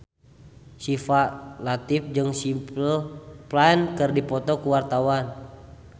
Syifa Latief jeung Simple Plan keur dipoto ku wartawan